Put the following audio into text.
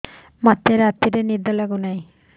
ମୋତେ ରାତିରେ ନିଦ ଲାଗୁନି